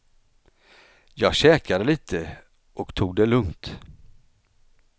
Jag käkade lite och tog det lugnt.